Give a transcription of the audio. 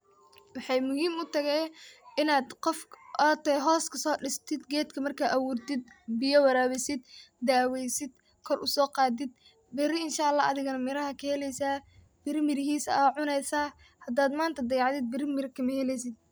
Waxey muhiim u tahay inaad qof aa tahay hoos kaso diistid geedka marka abuurtid biyo waraawisid daweysid kor usoqaadid bari inshaalaah adhigana miraha ka heleysa bari mirihisa aa cuneysa hada manta aad dayacdid bari mira kama heleysid.